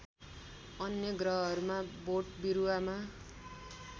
अन्य ग्रहहरूमा बोटबिरुवामा